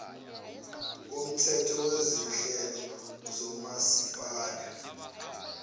komthetho wezinhlelo zomasipala